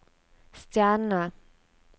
stjerne